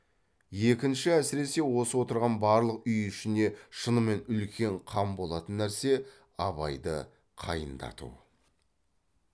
екінші әсіресе осы отырған барлық үй ішіне шынымен үлкен қам болатын нәрсе абайды қайындату